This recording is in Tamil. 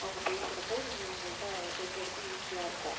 அவங்க பேசறப்போ நீ அவங்கள்ட்ட சொல்றதுக்கு easy ஆ இருக்கும்